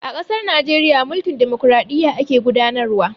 A ƙasar Najeriya, mulkin dimokraɗiyya ake gudanar wa.